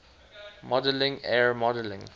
modeling er modeling